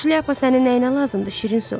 Buşlyapa sənin nəyinə lazımdır şirin su?